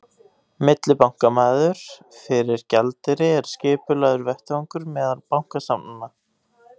Millibankamarkaður fyrir gjaldeyri er skipulagður vettvangur meðal bankastofnana.